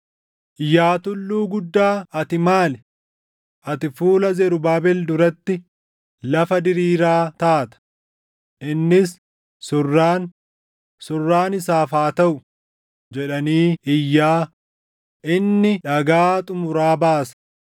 “Yaa tulluu guddaa ati maali? Ati fuula Zarubaabel duratti lafa diriiraa taata. Innis, ‘Surraan, surraan isaaf haa taʼu!’ jedhanii iyyaa inni dhagaa xumuraa baasa.”